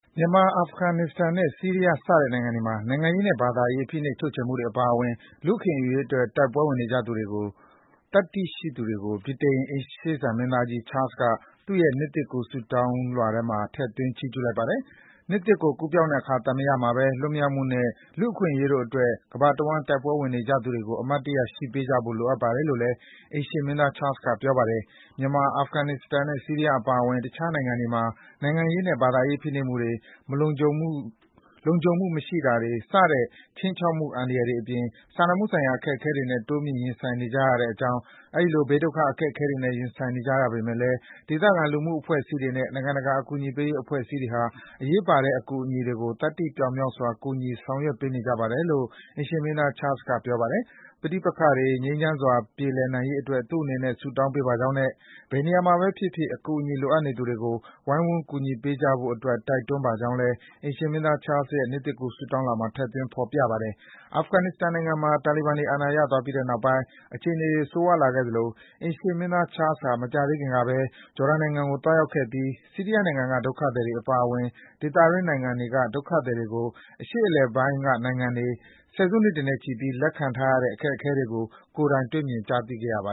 မြန်မာ၊ အာဖဂန်နစ္စတန်နဲ့ ဆီးရီးယား စတဲ့နိုင်ငံတွေမှာ နိုင်ငံရေးနဲ့ ဘာသာရေးအရ ဖိနှိပ်ချုပ်ချယ်မှုတွေ အပါအဝင် လူ့အခွင့်အရေးအတွက် တိုက်ပွဲဝင်နေကြသူတွေကို သတ္တိရှိသူတွေလို့ ဗြိတိန် အိမ်ရှေ့စံမင်းသားကြီး Charles က သူ့ရဲ့ နှစ်သစ်ကူး ဆုတောင်းလွှာထဲမှာ ထည့်သွင်း ချီးကျူးလိုက်ပါတယ်။ နှစ်သစ်ကို ကူးပြောင်းလာတဲ့ အခါသမယမှာပဲ လွတ်မြောက်မှုနဲ့ လူ့အခွင့်အရေးတို့အတွက် ကမ္ဘာတဝန်း တိုက်ပွဲဝင်နေကြသူတွေကို အမှတ်တရ ရှိပေးကြဖို့ လိုအပ်ပါတယ်လို့ အိမ်ရှေ့မင်းသား Charles က ပြောပါတယ်။ “မြန်မာ၊ အာဖဂန်နစ္စတန်နဲ့ ဆီးရီးယား အပါအဝင် တခြားနိုင်ငံတွေမှာ နိုင်ငံရေးနဲ့ ဘာသာရေး ဖိနှိပ်မှုတွေ၊ လုံခြုံမှု မရှိတာတွေ စတဲ့ ခြိမ်းခြောက်မှု အန္တရာယ်တွေအပြင် စာနာမှုဆိုင်ရာ အခက်အခဲတွေနဲ့ တိုးမြင့် ရင်ဆိုင်နေကြရကြောင်း၊ အဲဒီလို ဘေးဒုက္ခ အခက်အခဲတွေနဲ့ ရင်ဆိုင်နေကြရပေမယ့်လည်း ဒေသခံ လူမှုအဖွဲ့အစည်းတွေနဲ့ နိုင်ငံတကာက အကူအညီပေးရေး အဖွဲ့အစည်းတွေဟာ အရေးပါတဲ့ အကူအညီတွေကို သတ္တိပြောင်မြောက်စွာ ကူညီ ဆောင်ရွက်ပေးနေကြပါတယ်” လို့ အိမ်ရှေ့မင်းသား Charles က ထည့်သွင်း ပြောကြားခဲ့ပါတယ်။ ပဋိပက္ခတွေ ငြိမ်းချမ်းစွာ ပြေလည်နိုင်ရေးအတွက် သူ့အနေနဲ့ ဆုတောင်းပေးပါကြောင်းနဲ့ ဘယ်နေရာမှာပဲဖြစ်ဖြစ် အကူအညီ လိုအပ်နေသူတွေကို ဝိုင်းဝန်းကူညီပေးကြဖို့အတွက် တိုက်တွန်းပါကြောင်းလည်း အိမ်ရှေ့မင်းသား Charles ရဲ့ နှစ်သစ်ကူး ဆုတောင်းလွှာမှာ ထည့်သွင်း ဖော်ပြထားပါတယ်။ အာဖဂန်နစ္စတန်နိုင်ငံမှာ တာလီဘန်တွေ အာဏာရသွားပြီးတဲ့နောက် အခြေအနေတွေ ဆိုးရွားလာခဲ့သလို အိမ်ရှေ့မင်းသား Charles ဟာ မကြာသေးခင်ကပဲ ဂျော်ဒန်နိုင်ငံကို သွားရောက်ခဲ့ပြီး ဆီးရီးယားနိုင်ငံက ဒုက္ခသည်တွေ အပါအဝင် ဒေသတွင်း နိုင်ငံတွေက ဒုက္ခသည်တွေကို အရှေ့အလယ်ပိုင်းဒေသက နိုင်ငံတွေက ဆယ်စုနှစ်တွေနဲ့ချီပြီး လက်ခံထားရတဲ့ အခက်အခဲတွေကို ကိုယ်တိုင်တွေ့မြင် ကြားသိခဲ့ရတာပါ